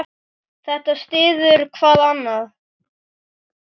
Þetta styður hvað annað.